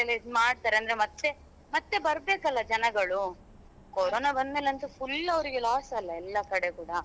ಮಾಡ್ತಾರೆ ಮತ್ತೆ ಮತ್ತೆ ಬರ್ಬೇಕಲ್ಲ ಜನಗಳು ಕೊರೊನಾ ಬಂದ್ಮೇಲೆ ಅಂತೂ full ಅವ್ರಿಗೆ loss ಅಲ್ಲ ಎಲ್ಲಾ ಕಡೆ ಕೂಡ.